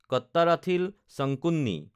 Kattarathil Sankunni